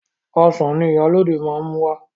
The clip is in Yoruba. Ọsàn ni Ìyálóde máa mú wá.